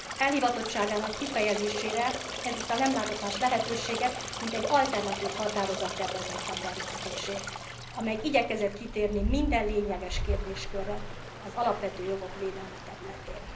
Elhivatottságának kifejezésére ezúttal nem látott más lehetőséget, mint egy alternatív határozattervezet beterjesztését, amely igyekezett kitérni minden lényeges kérdéskörre az alapvető jogok védelme területén.